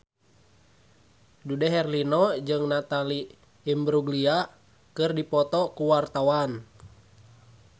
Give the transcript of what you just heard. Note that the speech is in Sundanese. Dude Herlino jeung Natalie Imbruglia keur dipoto ku wartawan